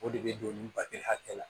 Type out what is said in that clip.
O de bɛ don nin bali hakɛ la